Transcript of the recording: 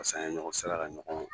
Paseke an ye ɲɔgɔn sira la ɲɔgɔn